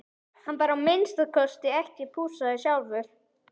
Hann var að minnsta kosti ekki pússaður sjálfur.